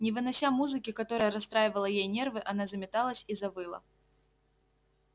не вынося музыки которая расстраивала ей нервы она заметалась и завыла